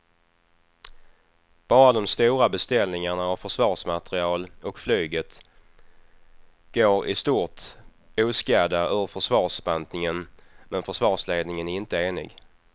Bara de stora beställningarna av försvarsmateriel och flyget går i stort oskadda ur försvarsbantningen men försvarsledningen är inte enig.